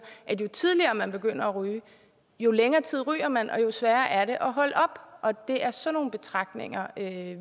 at jo tidligere man begynder at ryge jo længere tid ryger man og jo sværere er det at holde op og det er sådan nogle betragtninger